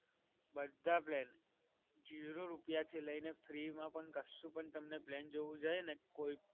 બધા plan. Zero રૂપિયા થી લઈને free માં પણ કશું પણ તમને plan જોવા જાય ને, કોઈ પણ